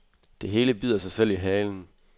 Det hele bider sig selv i halen.